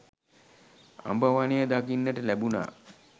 අඹ වනය දකින්නට ලැබුණා.